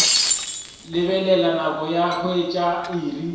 lebelela nako ka hwetša iri